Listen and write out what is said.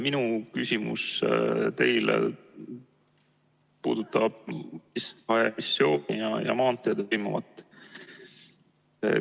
Minu küsimus teile puudutab ...... ja maanteedel toimuvat.